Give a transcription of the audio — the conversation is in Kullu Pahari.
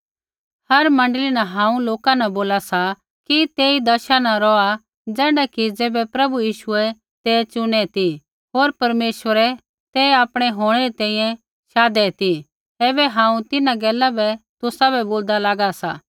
हर मण्डली न हांऊँ लोका न बोला सा कि तेई दशा न रौहा ज़ैण्ढा कि ज़ैबै प्रभु यीशुऐ ते चुनै ती होर परमेश्वरै ते आपणा होंणै री तैंईंयैं शाधु ता ऐबै हांऊँ तिन्हां गैला बै तुसाबै बोलदा लागा सा